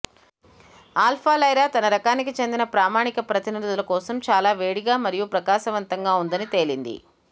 alpha Lyra తన రకానికి చెందిన ప్రామాణిక ప్రతినిధుల కోసం చాలా వేడిగా మరియు ప్రకాశవంతంగా ఉందని తేలింది